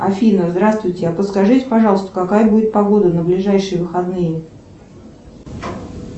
афина здравствуйте подскажите пожалуйста какая будет погода на ближайшие выходные